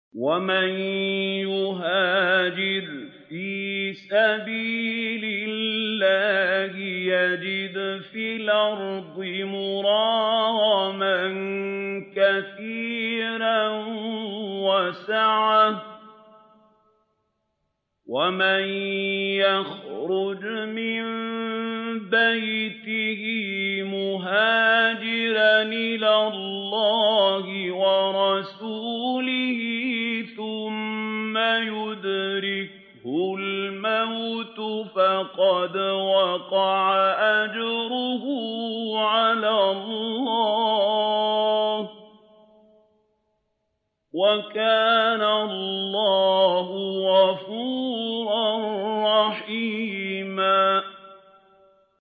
۞ وَمَن يُهَاجِرْ فِي سَبِيلِ اللَّهِ يَجِدْ فِي الْأَرْضِ مُرَاغَمًا كَثِيرًا وَسَعَةً ۚ وَمَن يَخْرُجْ مِن بَيْتِهِ مُهَاجِرًا إِلَى اللَّهِ وَرَسُولِهِ ثُمَّ يُدْرِكْهُ الْمَوْتُ فَقَدْ وَقَعَ أَجْرُهُ عَلَى اللَّهِ ۗ وَكَانَ اللَّهُ غَفُورًا رَّحِيمًا